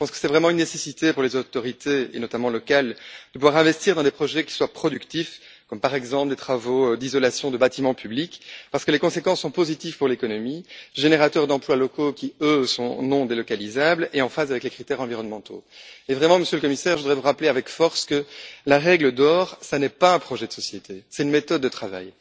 Je pense que c'est vraiment une nécessité pour les autorités, notamment les autorités locales, de pouvoir investir dans des projets qui soient productifs, comme des travaux d'isolation de bâtiments publics, parce que les conséquences sont positives pour l'économie, génératrices d'emplois locaux qui, eux, sont non délocalisables et en phase avec les critères environnementaux. Monsieur le Commissaire, je voudrais vous rappeler avec force que la règle d'or, ce n'est pas un projet de société, c'est une méthode de travail.